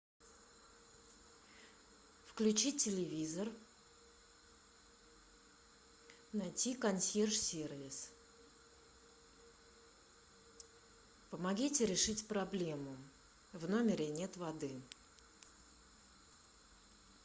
включи телевизор найти консьерж сервис помогите решить проблему в номере нет воды